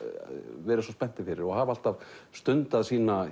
verið svo spenntir fyrir og hafa alltaf stundað